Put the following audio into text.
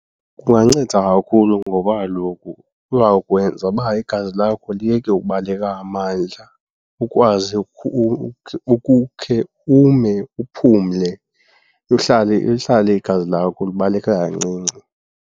Kunganceda kakhulu ngoba kaloku kuza kwenza uba igazi lakho liyeke ubaleka ngamandla ukwazi ukukhe ume uphumle, lihlale igazi lakho libaleka kancinci.